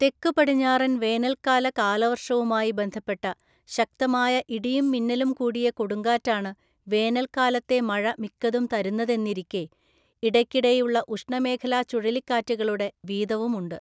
തെക്കുപടിഞ്ഞാറൻ വേനൽക്കാല കാലവര്‍ഷവുമായി ബന്ധപ്പെട്ട ശക്തമായ ഇടിയും മിന്നലും കൂടിയ കൊടുങ്കാറ്റാണ് വേനൽക്കാലത്തെ മഴ മിക്കതും തരുന്നതെന്നിരിക്കെ ഇടയ്ക്കിടെയുള്ള ഉഷ്ണമേഖലാ ചുഴലിക്കാറ്റുകളുടെ വീതവുമുണ്ട്.